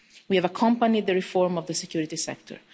We have accompanied the reform of the security sector.